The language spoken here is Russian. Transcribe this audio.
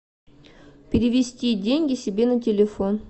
перевести деньги себе на телефон